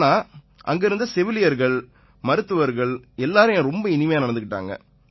ஆனா அங்க இருந்த செவிலியர்கள் மருத்துவர்கள் எல்லாரும் ரொம்ப இனிமையா நடந்துக்கிட்டாங்க